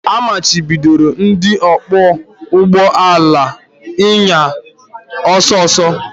A machibidoro ndị ọkwọ ụgbọ ala ịnya ọsọ ọsọ